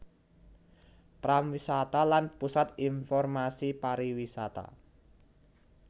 Pramwisata lan Pusat Informasi Pariwisata